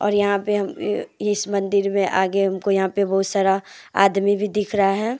और यहां पे इस मंदिर में आगे हमको यहां पे बहुत सारा आदमी भी दिख रहा है।